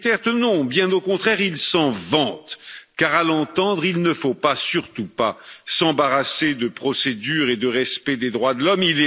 Duterte, non, bien au contraire, il s'en vante, car, à l'entendre, il ne faut pas surtout pas s'embarrasser de procédures et de respect des droits de l'homme.